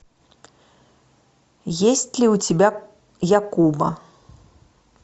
есть ли у тебя якуба